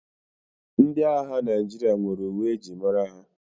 Ndị agha Naịjirịa nwere uwe e ji mara ha.